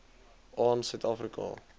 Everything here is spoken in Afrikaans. aan suid afrika